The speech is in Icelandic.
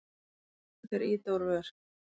Þeir ýta úr vör.